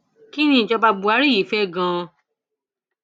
kín ni ìjọba buhari yìí fẹ ganan